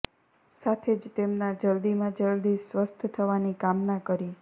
સાથે જ તેમના જલ્દીમાં જલ્દી સ્વસ્થ થવાની કામના કરી